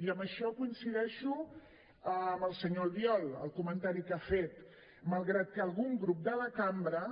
i en això coincideixo amb el senyor albiol el comentari que ha fet malgrat que algun grup de la cambra